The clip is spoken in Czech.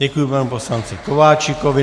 Děkuji panu poslanci Kováčikovi.